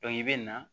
i bɛ na